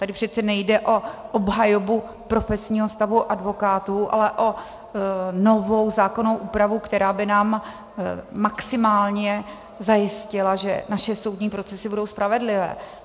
Tady přece nejde o obhajobu profesního stavu advokátů, ale o novou zákonnou úpravu, která by nám maximálně zajistila, že naše soudní procesy budou spravedlivé.